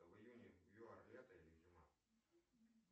в июне в юар лето или зима